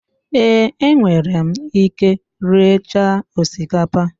ee, enwere m ike riecha osikapa